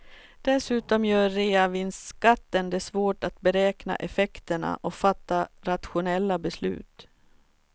Dessutom gör reavinstskatten det svårt att beräkna effekterna och fatta rationella beslut.